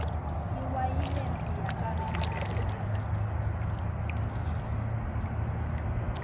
iwayilesi yababe isebentisa gesi